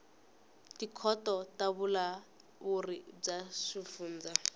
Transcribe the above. tikhoto ta vulawuri bya swifundza